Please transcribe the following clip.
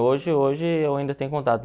Hoje hoje eu ainda tenho contato.